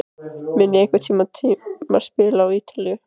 Mun ég einhvern tíma spila á Ítalíu?